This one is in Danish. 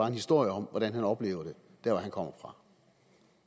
en historie om hvordan han oplever det der